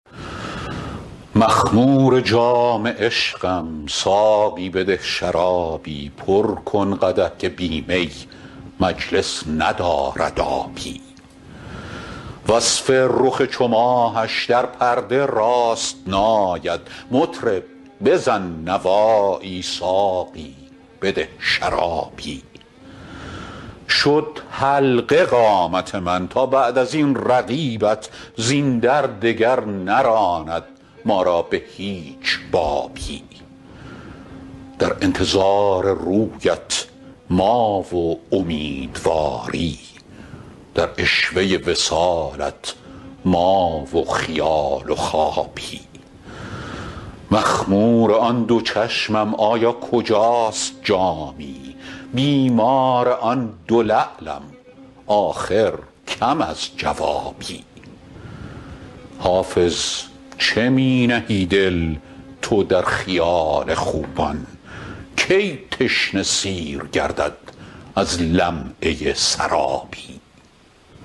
مخمور جام عشقم ساقی بده شرابی پر کن قدح که بی می مجلس ندارد آبی وصف رخ چو ماهش در پرده راست نآید مطرب بزن نوایی ساقی بده شرابی شد حلقه قامت من تا بعد از این رقیبت زین در دگر نراند ما را به هیچ بابی در انتظار رویت ما و امیدواری در عشوه وصالت ما و خیال و خوابی مخمور آن دو چشمم آیا کجاست جامی بیمار آن دو لعلم آخر کم از جوابی حافظ چه می نهی دل تو در خیال خوبان کی تشنه سیر گردد از لمعه سرابی